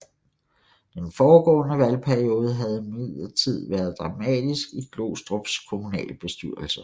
Den foregående valgperiode havde imidlertid været dramatisk i Glostrups kommunalbestyrelse